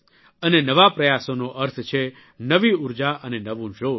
અને નવા પ્રયાસોનો અર્થ છે નવી ઉર્જા અને નવું જોશ